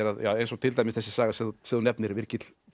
eins og til dæmis þessi saga sem þú nefnir virgill fer